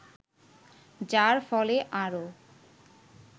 যার ফলে আরও